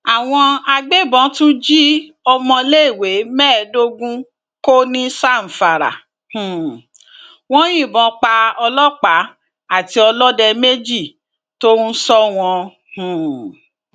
àwọn agbébọn tún jí ọmọléèwé mẹẹẹdógún kó ní zamfara um wọn yìnbọn pa ọlọpàá àti ọlọdẹ méjì tó ń sọ wọn um